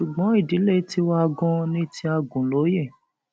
ṣùgbọn ìdílé tiwa ganan ní ti agunlóye